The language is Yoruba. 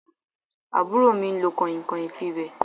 Àbúrò mi lo kànìnkànìn fi wé